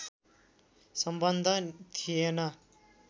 सम्बन्ध थिएन